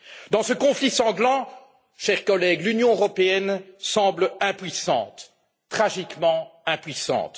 Dans ce conflit sanglant, chers collègues, l'Union européenne semble impuissante, tragiquement impuissante.